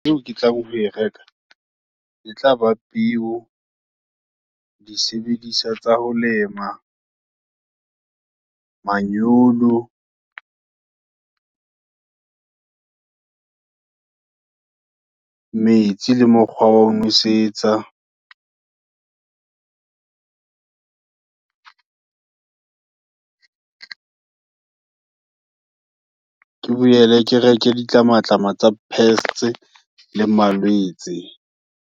Eo ke tla ho e reka, e tlaba peo, di sebediswa tsa ho lema, manyolo, metsi le mokgwa wa ho nosetsa. Ke boele ke reke di tlamatlama tsa pests le malwetse.